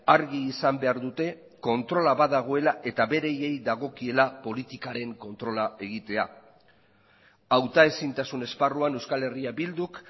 argi izan behar dute kontrola badagoela eta beraiei dagokiela politikaren kontrola egitea hauta ezintasun esparruan euskal herria bilduk